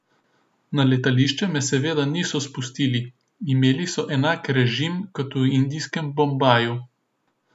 Na letališče me seveda niso spustili, imeli so enak režim kot v indijskem Bombaju.